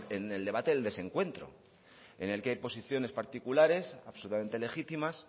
en el debate del desencuentro en el que hay posiciones particulares absolutamente legítimas